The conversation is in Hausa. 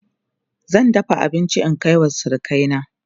zan dafa abinci in Kai wa surukai na